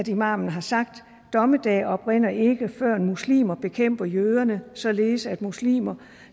imamen har sagt dommedag oprinder ikke før muslimer bekæmper jøderne således at muslimerne